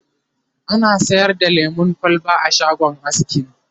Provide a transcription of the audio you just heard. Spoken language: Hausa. ana sayar da lemun kwalba a shagon askin